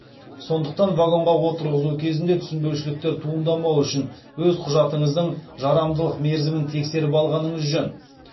сондықтан вагонға отырғызу кезінде түсінбеушіліктер туындамауы үшін өз құжатыңыздың жарамдылық мерзімін тексеріп алғаныңыз жөн